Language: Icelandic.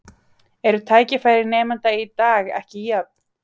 Eru tækifæri nemenda í dag ekki jöfn?